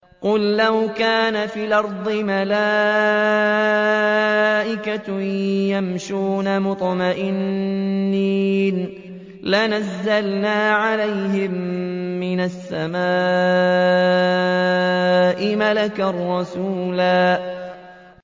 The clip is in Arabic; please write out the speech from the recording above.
قُل لَّوْ كَانَ فِي الْأَرْضِ مَلَائِكَةٌ يَمْشُونَ مُطْمَئِنِّينَ لَنَزَّلْنَا عَلَيْهِم مِّنَ السَّمَاءِ مَلَكًا رَّسُولًا